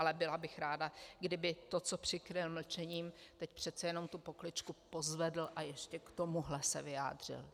Ale byla bych ráda, kdyby to, co přikryl mlčením, teď přece jenom tu pokličku pozvedl a ještě k tomuhle se vyjádřil.